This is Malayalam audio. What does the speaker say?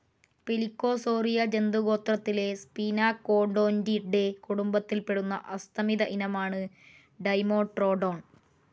പെലിക്കോസോറിയ ജന്തുഗോത്രത്തിലെ സ്പിനാകോഡോന്റിഡെ കുടുംബത്തിൽപ്പെടുന്ന അസ്തമിത ഇനമാണ് ഡൈമെട്രോഡോൺ.